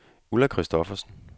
Ulla Christoffersen